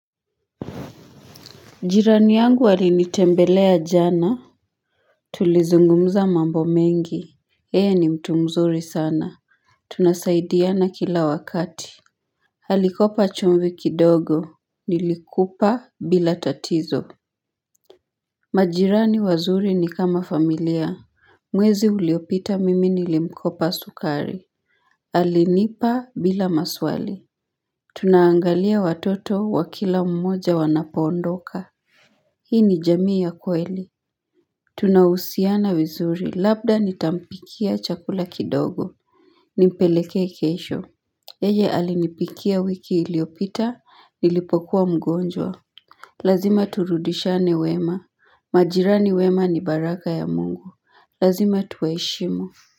Jirani yangu alinitembelea jana Tulizungumza mambo mengi yeye ni mtu mzuri sana Tunasaidiana kila wakati alikopa chumvi kidogo Nilikupa bila tatizo majirani wazuri ni kama familia Mwezi uliopita mimi nilimkopa sukari alinipa bila maswali Tunaangalia watoto wa kila mmoja wanapoondoka Hii ni jamii ya kweli Tunahusiana vizuri labda nitampikia chakula kidogo Nimpelekee kesho yeye alinipikia wiki iliyopita nilipokuwa mgonjwa Lazima turudishiane wema majirani wema ni baraka ya mungu Lazima tuwaheshimu.